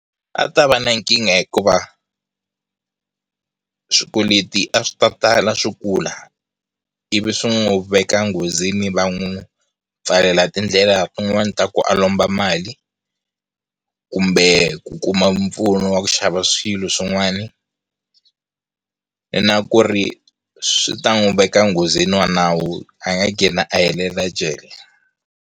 A ta va na nkingha hikuva swikweleti a swi ta tala swi kula ivi swi n'wi veka nghozini va n'wi pfalela tindlela tin'wani ta ku a lomba mali kumbe ku kuma mpfuno wa ku xava swilo swin'wana na ku ri swi ta n'wi veka nghozini wa nawu a nga a helele jele.